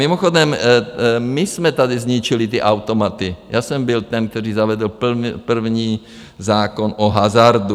Mimochodem, my jsme tady zničili ty automaty, já jsem byl ten, který zavedl první zákon o hazardu.